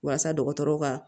Walasa dɔgɔtɔrɔw ka